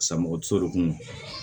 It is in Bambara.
Sanmɔgɔ tiso de kun do